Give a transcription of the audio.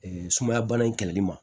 Ee sumaya bana in kɛlɛli ma